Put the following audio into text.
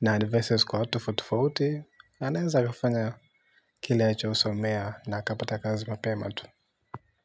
na advices kwa watu tofauti-tofauti, aneweza akafanya kile alichosomea na akapata kazi mapema tu.